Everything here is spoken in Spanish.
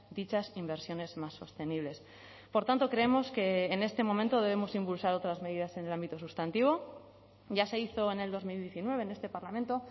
dichas inversiones más sostenibles por tanto creemos que en este momento debemos impulsar otras medidas en el ámbito sustantivo ya se hizo en el dos mil diecinueve en este parlamento